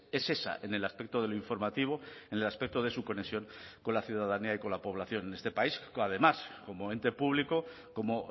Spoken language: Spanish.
es esa en el aspecto de lo informativo en el aspecto de su conexión con la ciudadanía y con la población en este país además como ente público como